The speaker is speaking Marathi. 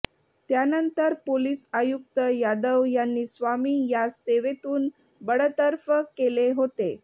त्यानंतर पोलीस आयुक्त यादव यांनी स्वामी यास सेवेतून बडतर्फ केले होते